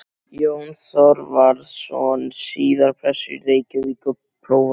Jón Þorvarðsson, síðar prestur í Reykjavík og prófastur.